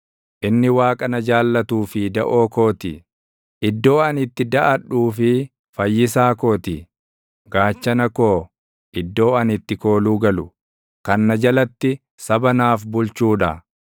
Inni Waaqa na jaallatuu fi daʼoo koo ti; iddoo ani itti daʼadhuu fi fayyisaa koo ti. Gaachana koo, iddoo ani itti kooluu galu, kan na jalatti saba naaf bulchuu dha.